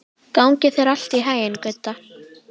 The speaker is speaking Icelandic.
Gangi þér allt í haginn, Gudda.